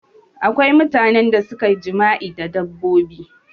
Akwai mutane da suke jima'i da dabbobi